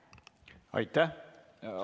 Aitäh!